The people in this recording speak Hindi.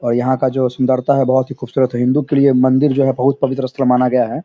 और यहाँ का जो सुंदरता है बहुत ही खुबसूरत है। हिंदू के लिए मंदिर जो है बहुत पवित्र स्थल माना गया है।